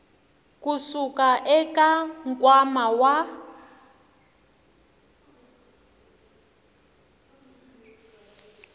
ku suka eka nkwama wa